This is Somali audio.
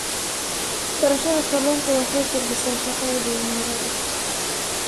Beerashada kalluunka waxay kordhisaa shaqada dhalinyarada.